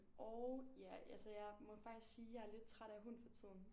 Og ja altså jeg må faktisk sige jeg er lidt træt af hund for tiden